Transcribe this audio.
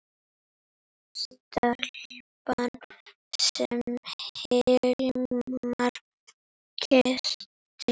Stelpan sem Hilmar kyssti.